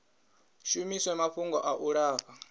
shumiswe mafhungo a u lafha